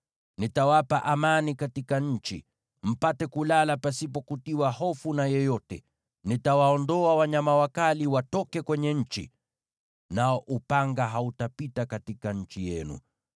“ ‘Nitawapa amani katika nchi, mpate kulala pasipo kutiwa hofu na yeyote. Nitawaondoa wanyama wakali watoke kwenye nchi, nao upanga hautapita katika nchi yenu.